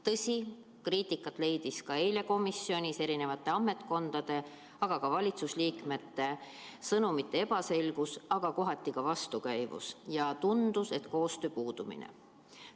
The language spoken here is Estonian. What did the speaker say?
Tõsi, kriitikat leidis eile komisjonis eri ametkondade ja ka valitsusliikmete sõnumite ebaselgus, kohati ka vastukäivus, ja tundus, et koostöö puudumine.